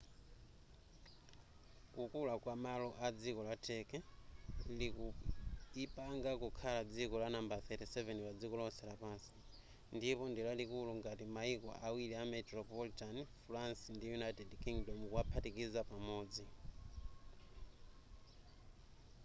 kukula kwamalo a dziko la turkey likuipanga kukhala dziko lanambala 37 padziko lonse lapansi ndipo ndilalikulu ngati mayiko awiri a metropolitan france ndi united kingdom kuwaphatikiza pamodzi